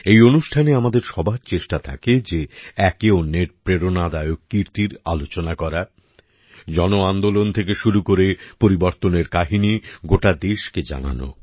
এই অনুষ্ঠানে আমাদের সবার চেষ্টা থাকে যে একে অন্যের প্রেরণাদায়ক কীর্তির আলোচনা করা জনআন্দোলন থেকে শুরু করে পরিবর্তনের কাহিনী গোটা দেশকে জানানো